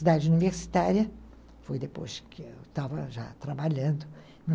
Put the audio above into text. Cidade universitária foi depois que eu estava já trabalhando,